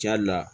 Ja le la